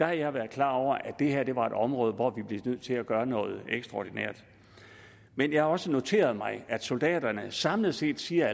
har jeg været klar over at det her var et område hvor vi blev nødt til at gøre noget ekstraordinært men jeg har også noteret mig at soldaterne samlet set siger